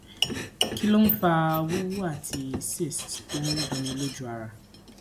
kí ló ń fa wuwu ati cyst to n dunni loju ara